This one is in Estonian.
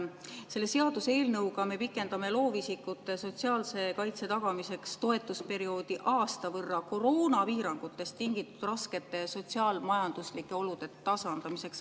Selle seaduseelnõuga me pikendame loovisikute sotsiaalse kaitse tagamiseks toetusperioodi aasta võrra koroonapiirangutest tingitud raskete sotsiaal-majanduslike olude tasandamiseks.